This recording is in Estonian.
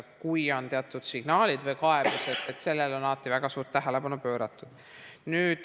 Kui on teatud signaalid või kaebused, on sellele alati väga suurt tähelepanu pööratud.